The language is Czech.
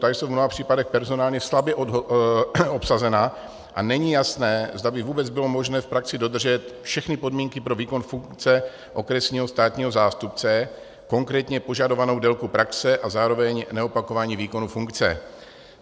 Ta jsou v mnoha případech personálně slabě obsazena a není jasné, zda by vůbec bylo možné v praxi dodržet všechny podmínky pro výkon funkce okresního státního zástupce, konkrétně požadovanou délku praxe a zároveň neopakování výkonu funkce.